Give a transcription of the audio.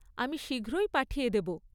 আমি শীঘ্রই পাঠিয়ে দেব।